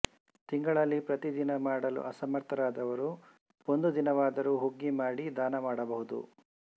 ತಿಂಗಳಲ್ಲಿ ಪ್ರತಿ ದಿನ ಮಾಡಲು ಅಸಮರ್ಥರಾದವರು ಒಂದು ದಿನವಾದರೂ ಹುಗ್ಗಿ ಮಾಡಿ ದಾನ ಮಾಡಬಹುದು